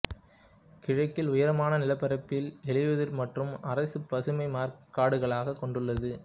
கிழக்கில் உயரமான நிலப்பரப்பில் இலையுதிர் மற்றும் அரை பசுமை மாறாக் காடுகளைக் கொண்டுள்ளது